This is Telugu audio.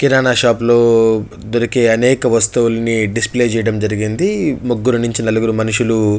కిరానా షాప్ లో దొరికే అనేక వస్తువులని డిస్ప్లే చేయటం జరిగింది ముగ్గురు నుంచి నలుగురు మనుషులు --